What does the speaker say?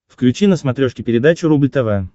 включи на смотрешке передачу рубль тв